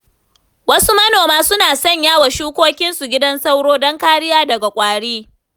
Wasu manoma suna sanyawa shukokinsu gidan sauro, don kariya daga ƙwari.